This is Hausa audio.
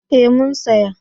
Ee mun saya.